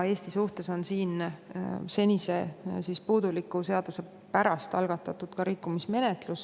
Eesti suhtes on meie senise puuduliku seaduse pärast algatatud rikkumismenetlus.